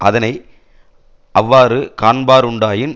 அதனை அவ்வாறு காண்பாருண்டாயின்